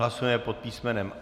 Hlasujeme pod písm.